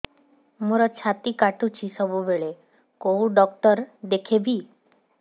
ମୋର ଛାତି କଟୁଛି ସବୁବେଳେ କୋଉ ଡକ୍ଟର ଦେଖେବି